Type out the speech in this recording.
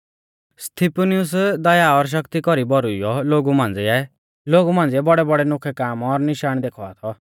स्तिफनुस दया और शक्ति कौरी भौरुइऔ लोगु मांझ़िऐ बौड़ैबौड़ै नोखै काम और निशाण देखावा थौ